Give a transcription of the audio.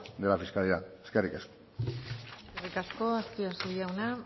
de la fiscalidad eskerrik asko eskerrik asko azpiazu jauna